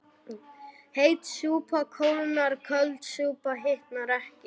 Heit súpa kólnar köld súpa hitnar ekki